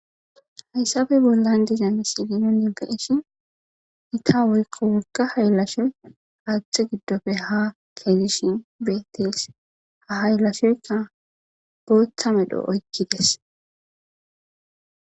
hayssabe bollan dizena si linon yonka ishi ita woykko wolga hayllashoy aatte giddofe ha keedishin beetes ha haylashoyka booththa medho oykkides